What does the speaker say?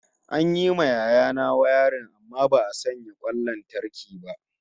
An yi ma yaya na wayarin amma ba'a sanya kwan lantarki ba